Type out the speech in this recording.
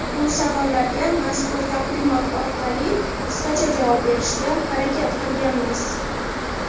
Bu savollarga mazkur taqdimot orqali qisqacha javob berishga harakat qilganmiz.